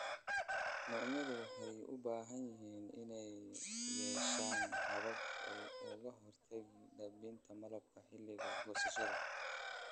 Cuncunyadu waxay u baahan yihiin inay yeeshaan habab ay kaga hortagaan daadinta malabka xilliga goosashada.